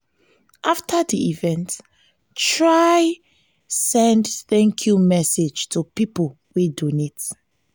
after di event try di event try send 'thank you' message to pipo wey donate